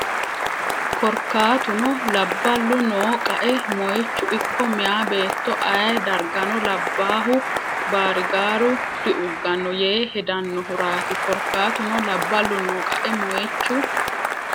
Korkaatuno labballu noo qae moychu ikko Meyaa beetto ayee dargano labbaahu baarigaaru diugganno yee hedannohuraati Korkaatuno labballu noo qae moychu.